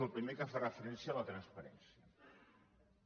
el primer que fa referència a la transparència